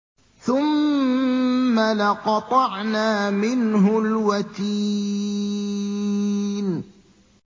ثُمَّ لَقَطَعْنَا مِنْهُ الْوَتِينَ